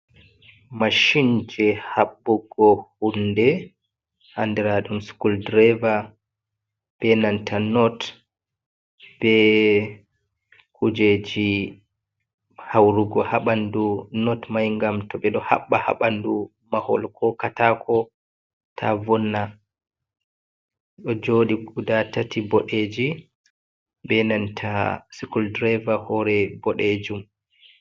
Mashin je haɓɓugo hunde andiraɗum skuldreva, be nanta not, be kujeji haurugo ha ɓandu not mai. Ngam to ɓe ɗo haɓɓa ha ɓandu mahol ko kataako ta vonna. Ɗo jooɗi guda tati boɗeeji, be nanta skuldreva hore boɗeejum.